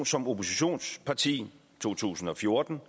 som oppositionsparti i to tusind og fjorten